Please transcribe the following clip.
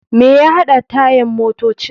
Me ya haɗa tayan motoci?